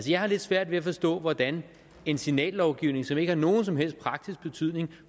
jeg har lidt svært ved at forstå hvordan en signallovgivning som ikke har nogen som helst praktisk betydning